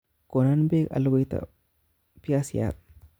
Konon bek alukuita biasiat